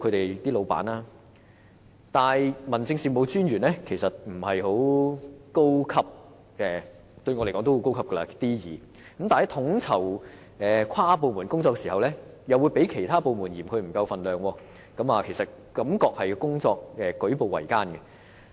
然而 ，DO 不算是很高職級的官員——雖然對我來說 D2 級公務員已算是高級——在統籌跨部門工作時，其他部門會嫌他們分量不夠 ，DO 的工作實在舉步維艱。